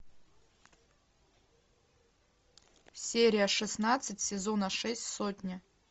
серия шестнадцать сезона шесть сотня